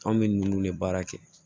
An bɛ ninnu de baara kɛ